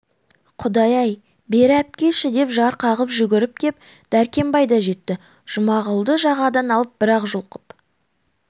құдай-ай бері әпкеші деп зар қағып жүгіріп кеп дәркембай да жетті жұмағұлды жағадан алып бір-ақ жұлқып